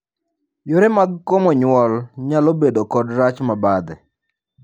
Yore mag komo nyuol nyalo bedo kod rach mabadhe.